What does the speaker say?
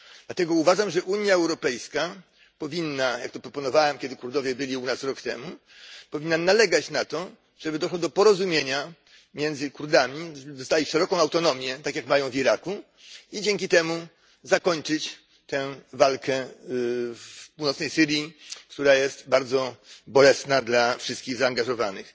Dlatego uważam, że Unia Europejska powinna jak to proponowałem, kiedy Kurdowie byli u nas rok temu nalegać na to, żeby doszło do porozumienia między Kurdami, żeby dostali szeroką autonomię tak jak mają w Iraku i dzięki temu zakończyć tę walkę w północnej Syrii, która jest bardzo bolesna dla wszystkich zaangażowanych.